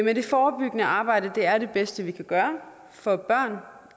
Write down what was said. men det forebyggende arbejde er det bedste vi kan gøre for børn